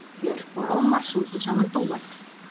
Björk og Ómar sungu saman dúett